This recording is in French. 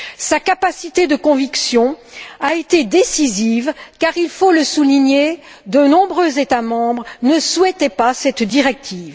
Sa capacité de conviction a été décisive car il faut le souligner de nombreux États membres ne souhaitaient pas cette directive.